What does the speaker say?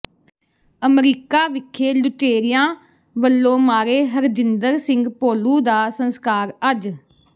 America ਵਿਖੇ ਲੁਟੇਰਿਆਂ ਵੱਲੋਂ ਮਾਰੇ ਹਰਜਿੰਦਰ ਸਿੰਘ ਭੋਲੂ ਦਾ ਸੰਸਕਾਰ ਅੱਜ